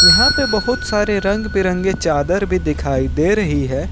यहां पे बहुत सारे रंग बिरंगे चादर भी दिखाई दे रही है।